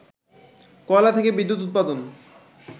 কয়লা থেকে বিদ্যুৎ উৎপাদন